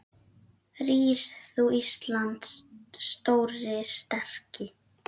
Rís þú, Íslands stóri, sterki